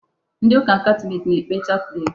Ndị ụka Katọlik na-ekpe chaplet.